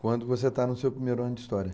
Quando você está no seu primeiro ano de história?